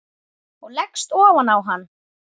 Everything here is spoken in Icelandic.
Ég leggst ofan á hann.